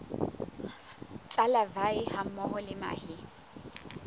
tsa larvae hammoho le mahe